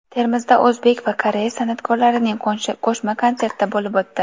Termizda o‘zbek va koreys san’atkorlarining qo‘shma konserti bo‘lib o‘tdi .